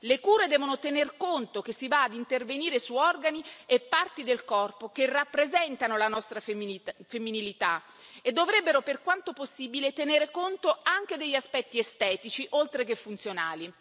Le cure devono tener conto che si va ad intervenire su organi e parti del corpo che rappresentano la nostra femminilità e dovrebbero, per quanto possibile, tenere conto anche degli aspetti estetici, oltre che funzionali.